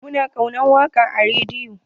Mun kunna waƙa a rediyon.